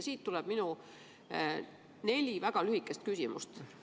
Siit tuleb minu neli väga lühikest küsimust.